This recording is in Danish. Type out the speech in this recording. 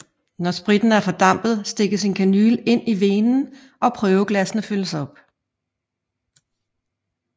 Når spritten er fordampet stikkes en kanyle ind i venen og prøveglassene fyldes op